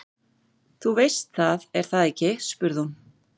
Þú veist það, er það ekki spurði hún.